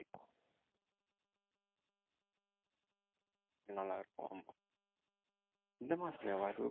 நல்லா இருக்கும் ஆமா இந்த மாசத்துலயேவா